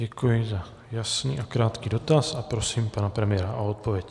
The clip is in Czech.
Děkuji za jasný a krátký dotaz a prosím pana premiéra o odpověď.